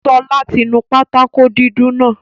Ṣọlá ti nu pátákó dúdú náà